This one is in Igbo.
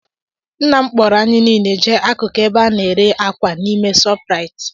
Nnam kpọọro anyị nile jee akụkụ ebe ana-ere ákwà n'ime ShopRite